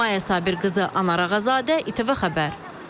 Maya Sabirqızı, Anar Ağazadə, İTV Xəbər.